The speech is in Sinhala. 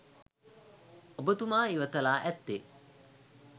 ඔබතුමා ඉවත ලා ඇත්තේ